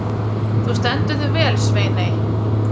Þú stendur þig vel, Sveiney!